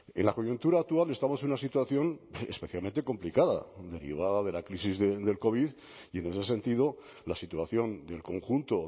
en la coyuntura actual estamos en una situación especialmente complicada derivada de la crisis del covid y en este sentido la situación del conjunto